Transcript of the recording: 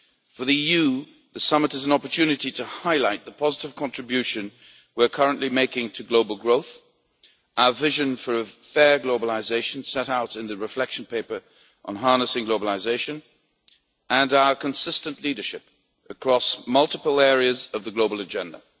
For the EU, the G20 summit is an opportunity to highlight the positive contribution we are currently making to global growth, our vision for fair globalisation, set out in the Reflection Paper on Harnessing Globalisation, and our consistent leadership across multiple areas of the global agenda.